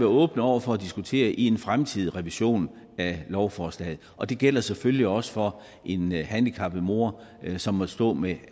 åbne over for at diskutere i forbindelse med en fremtidig revision af lovforslaget og det gælder selvfølgelig også for en handicappet mor som måtte stå med